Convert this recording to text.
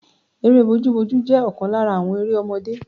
Eré bójú bójú jẹ́ ọ̀kan lára àwọn eré ọmọdé.